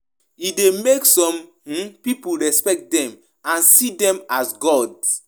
If religious leaders religious leaders talk say 'God said' e de make pipo no fit question dem